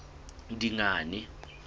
dingane